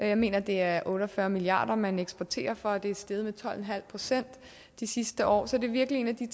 jeg mener det er otte og fyrre milliard kr man eksporterer for og det er steget med tolv en halv procent de sidste år så det er virkelig en af de